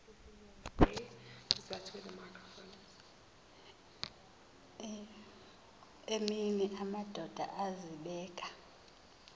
emini amadoda azibeka